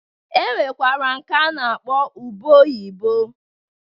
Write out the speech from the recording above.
E nwekwara nke a na-akpọ ube oyibo.